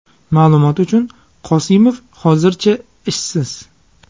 Ma’lumot uchun, Qosimov hozircha ishsiz.